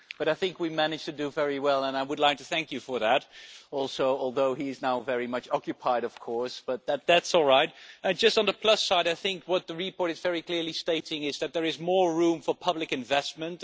I think we managed to do very well, and I would like to thank him for that also although he is now very much occupied, of course, but that is all right! On the plus side, what the report very clearly states is that there is more room for public investment.